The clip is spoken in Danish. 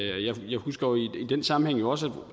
jeg husker i den sammenhæng jo også